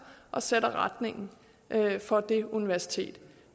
og sætter retningen for det universitet